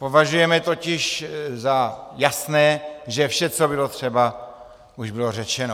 Považujeme totiž za jasné, že vše, co bylo třeba, už bylo řečeno.